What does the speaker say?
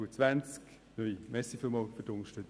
Ich danke für die Unterstützung.